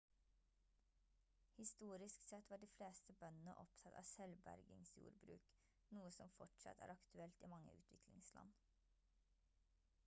historisk sett var de fleste bøndene opptatt av selvbergingsjordbruk noe som fortsatt er aktuelt i mange utviklingsland